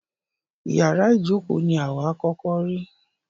Ìyárá ìjókó ní wà à kọ́kọ́ rí.